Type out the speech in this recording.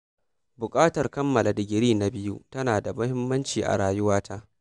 Buƙatar kammala digiri na biyu tana da mahimmanci a rayuwata.